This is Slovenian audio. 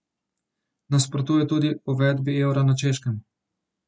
Nasprotuje tudi uvedbi evra na Češkem.